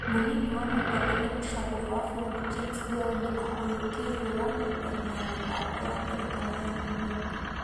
Mũnini wa mũtongoria mũcagũre wa bũrũri James Mbeu nĩ ahũyũkĩirwo nyũmba-inĩ ya mĩthako ya ngerekano ya New York